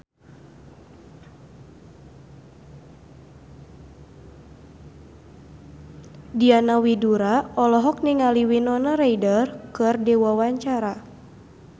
Diana Widoera olohok ningali Winona Ryder keur diwawancara